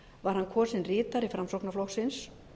var hann kosinn ritari framsóknarflokksins